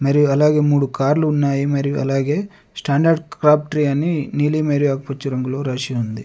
మరియు అలాగే మూడు కార్లు ఉన్నాయి. మరియు అలాగే స్టాండర్డ్ క్రాబ్ట్రీ అని నీలి మరియు ఆకుపచ్చ రంగులో రాసి ఉంది.